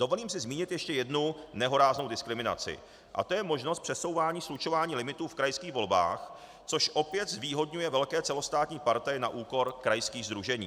Dovolím si zmínit ještě jednu nehoráznou diskriminaci a to je možnost přesouvání, slučování limitů v krajských volbách, což opět zvýhodňuje velké celostátní partaje na úkor krajských sdružení.